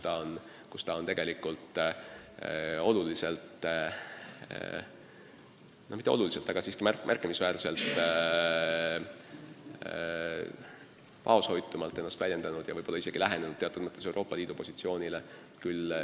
Ta on tegelikult end oluliselt – no kui mitte oluliselt, siis märkimisväärselt – vaoshoitumalt väljendanud ja võib-olla isegi teatud mõttes lähenenud Euroopa Liidu positsioonile.